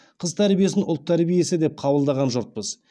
қыз тәрбиесін ұлт тәрбиесі деп қабылдаған жұртпыз